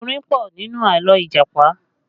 Orin pọ̀ nínú àlọ́ Ìjàpá